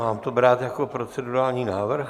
Mám to brát jako procedurální návrh?